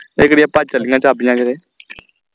ਇਹ ਕਿਹੜੀਆਂ ਭੱਜ ਚਲੀਆਂ ਚਾਬੀਆਂ ਕੀਤੇ